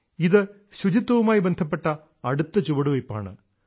ഇതു ശുചിത്വവുമായി ബന്ധപ്പെട്ട അടുത്ത ചുവടുവയ്പ്പാണ്